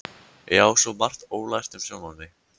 Ég á svo margt ólært um sjálfa mig.